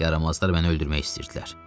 Yaramazlar məni öldürmək istəyirdilər.